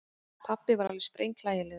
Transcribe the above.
Pabbi var alveg sprenghlægilegur.